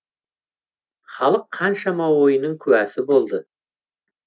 халық қаншама ойынның куәсі болды